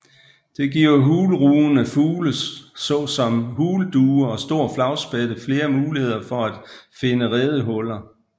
Det giver hulrugende fugle såsom huldue og stor flagspætte flere muligheder for at finde redehuller